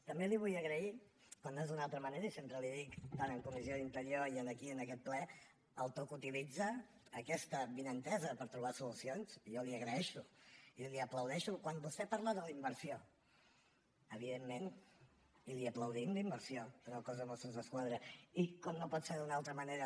també li vull agrair com no és d’una altra manera i sempre li ho dic tant en comissió d’interior com aquí en aquest ple el to que utilitza aquesta avinentesa per trobar solucions que jo li agraeixo i li aplaudeixo quan vostè parla de la inversió evidentment i li aplaudim la inversió en el cos de mossos d’esquadra i com no pot ser d’una altra manera